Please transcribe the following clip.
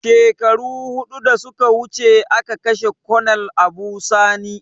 Shekaru hudu da suka wuce a ka kashe konel Abu sani